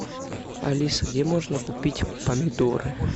алиса где можно купить помидоры